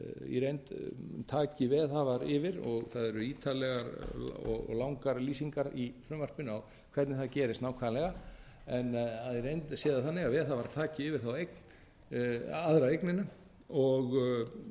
í reynd taki veðhafar yfir og það eru ítarlegar og langar lýsingar í frumvarpinu á hvernig það gerist nákvæmlega en í reynd sé það þannig að veðhafar taki yfir aðra eignina